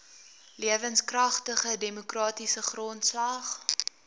lewenskragtige demokratiese grondslag